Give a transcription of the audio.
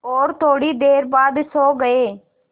और थोड़ी देर बाद सो गए